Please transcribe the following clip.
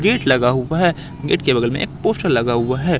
Gate लगा हुआ है गेट के बगल में एक पोस्टर लगा हुआ है।